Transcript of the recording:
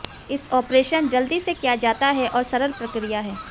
इस आपरेशन जल्दी से किया जाता है और सरल प्रक्रिया है